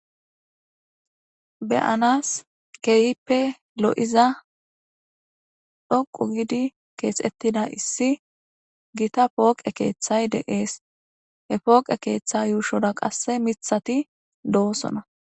Be7anas keehippe lo7iza dhoqqu giidi keexeththida issi githa pooqe keeththay de7ees; he pooqe keeththa yuushora qasse miththathi doosona.